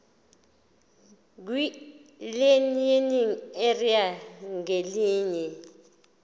kwilearning area ngayinye